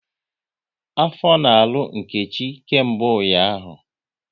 Afọ na-arụ Nkechi kemgbe ụnyaahụ